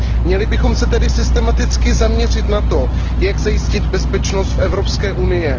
Měli bychom se tedy systematicky zaměřit na to, jak zajistit bezpečnost Evropské unie.